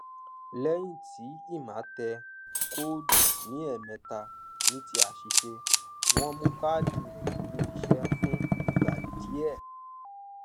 lẹyìn tí emma tẹ kóòdù ní ẹẹmẹta ní ti àṣìṣe wọn mú káádì rẹ dúró iṣẹ fún ìgbà díẹ